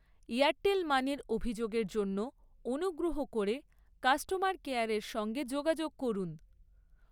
Airtel মানি'র অভিযোগের জন্য অনুগ্রহ করে কাস্টমার কেয়ারের সঙ্গে যোগাযোগ করুন।